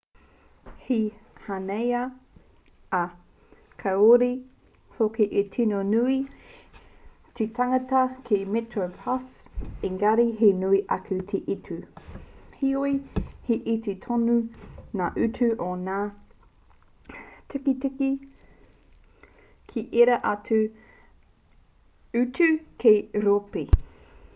he hāneanea ā kāore hoki e tino nui te tāngata ki metroplus engari he nui ake te utu heoi he iti tonu ngā utu o ngā tīkiti ki ērā atu utu kei ūropi